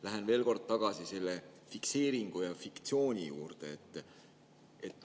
Lähen veel kord tagasi selle fikseeringu ja fiktsiooni juurde.